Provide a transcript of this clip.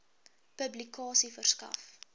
publikasie verskaf